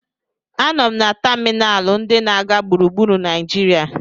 A nọ m na tamịnalụ ndị na-aga gburugburu Naijiria.